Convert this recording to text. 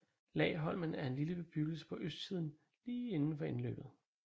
Laholmen er en lille bebyggelse på østsiden lige indenfor indløbet